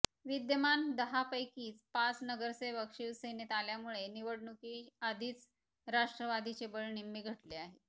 विद्यमान दहापैकी पाच नगरसेवक शिवसेनेत आल्यामुळे निवडणुकीआधीच राष्ट्रवादीचे बळ निम्मे घटले आहे